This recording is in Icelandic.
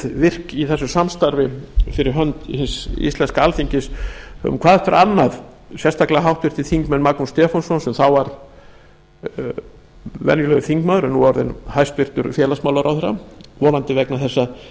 í þessu samstarfi fyrir hönd hins íslenska alþingis höfum hvað eftir annað sérstaklega háttvirtur þingmaður magnús stefánsson sem þá var venjulegur þingmaður en er nú orðinn hæstvirts félagsmálaráðherra vonandi vegna þess að